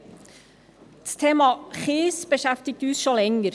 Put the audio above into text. Das Thema Kies beschäftigt uns schon länger.